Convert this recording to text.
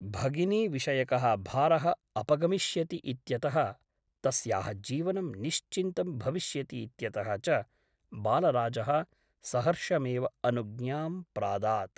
भगिनीविषयकः भारः अपगमिष्यति इत्यतः तस्याः जीवनं निश्चिन्तं भविष्यति इत्यतः च बालराजः सहर्षमेव अनुज्ञां प्रादात् ।